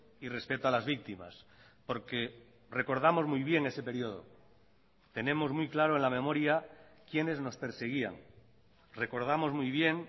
y respeto a las víctimas porque recordamos muy bien ese periodo tenemos muy claro en la memoria quiénes nos perseguían recordamos muy bien